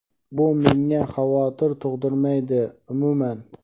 Bu menga xavotir tug‘dirmaydi umuman.